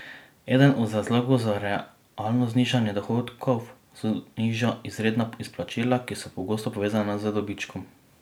Eden od razlogov za realno znižanje dohodkov so nižja izredna izplačila, ki so pogosto povezana z dobičkom.